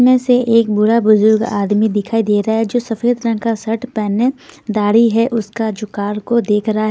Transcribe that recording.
इनमे में से एक बूढ़ा बुजुर्ग आदमी दिखाई दे रहा है जो सफेद रंग का शर्ट पहने गाड़ी है उसका जो कार को देख रहा है।